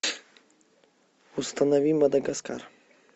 установи мадагаскар